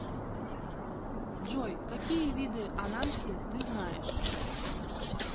джой какие виды ананси ты знаешь